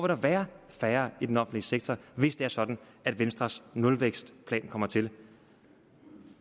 der være færre i den offentlige sektor hvis det er sådan at venstres nulvækstplan kommer til